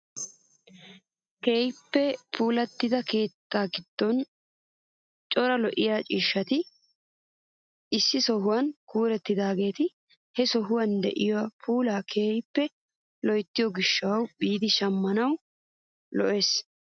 Keehippe puulattida keettaa giddon cora lo"iyaa ciishshati issi sohuwaan kuurettidageeti he sohuwawu de'iyaa puulaa keehippe loyttido gishshawu biidi shemppanawu lo"oosona!